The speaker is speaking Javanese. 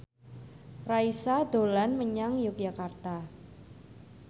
Raisa dolan menyang Yogyakarta